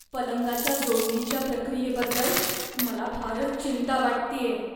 पलंगाच्या जोडणीच्या प्रक्रियेबद्दल मला फारच चिंता वाटतेय.